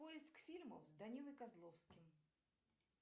поиск фильмов с данилой козловским